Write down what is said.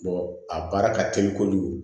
a baara ka teli kojugu